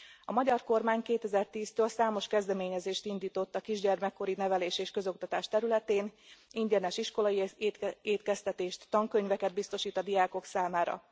A magyar kormány 2010 től számos kezdeményezést indított a kisgyermekkori nevelés és közoktatás területén, ingyenes iskolai étkeztetést, tankönyveket biztosít a diákok számára.